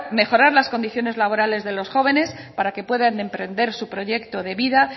mejorar las condiciones laborales de los jóvenes para que puedan emprender su proyecto de vida